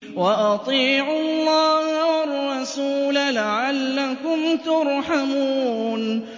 وَأَطِيعُوا اللَّهَ وَالرَّسُولَ لَعَلَّكُمْ تُرْحَمُونَ